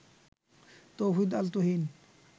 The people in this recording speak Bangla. তৌহিদ আল তুহিন